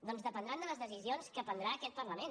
doncs dependrà de les decisions que prendrà aquest parlament